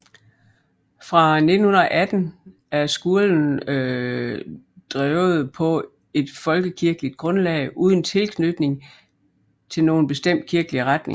Fra 1918 er skolen drevet på et folkekirkeligt grundlag uden tilknytning til nogen bestemt kirkelig retning